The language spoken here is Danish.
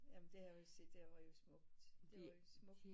Jamen det jeg vil sige det var jo smukt